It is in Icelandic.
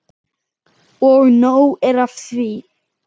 Og nóg er af því.